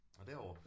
Nåh derovre